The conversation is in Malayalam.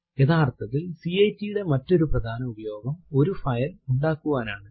യഥാർത്ഥത്തിൽ കാട്ട് ന്റെ മറ്റൊരു പ്രധാന ഉപയോഗം ഒരു ഫൈൽ ഉണ്ടാക്കുവനാണ്